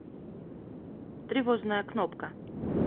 тревожная кнопка